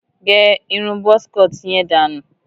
Gé irun buzz cut yẹn dànù.